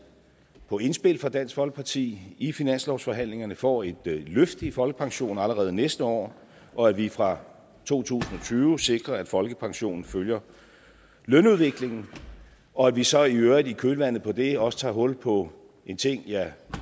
på indspil fra dansk folkeparti i finanslovsforhandlingerne får et løft i folkepensionen allerede næste år og at vi fra to tusind og tyve sikrer at folkepensionen følger lønudviklingen og at vi så i øvrigt i kølvandet på det også tager hul på en ting jeg